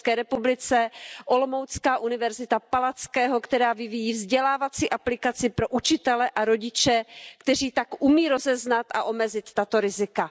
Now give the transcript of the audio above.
česká Palackého univerzita v Olomouci, která vyvíjí vzdělávací aplikaci pro učitele a rodiče, kteří tak umí rozeznat a omezit tato rizika.